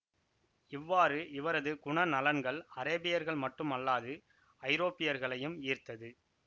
இவ்வாறு இவரது குணநலன்கள் அரேபியர்கள் மட்டும் அல்லாது ஐரோப்பியர்களையும் ஈர்த்தது